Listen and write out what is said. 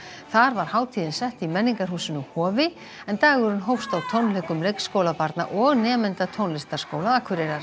þar var hátíðin sett í menningarhúsinu Hofi en dagurinn hófst á tónleikum leikskólabarna og nemenda tónlistarskóla Akureyrar